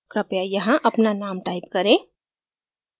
कृपया यहाँ अपना name type करें